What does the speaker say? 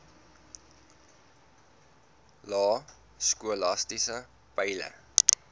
lae skolastiese peile